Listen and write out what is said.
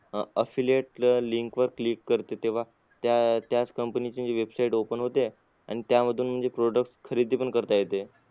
अह Affiliate link वर click करते तेव्हा त्या त्याच company ची म्हणजे website open होते आणि त्यामधून म्हणजे product खरेदी पण करता येते